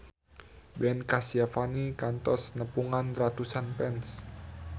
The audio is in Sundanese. Ben Kasyafani kantos nepungan ratusan fans